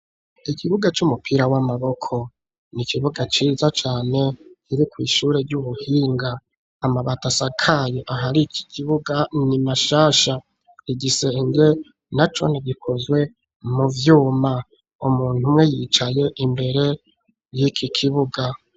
Ikibuga c'umupira w'amaboko n'ikibuga ciza cane kiri kwishure ry'ubuhinga, amabati asakaye ahari iki kibuga ni mashasha, igisenge nacone gikozwe muvyuma umuntu umwe yicaye imbere yiki kibuga.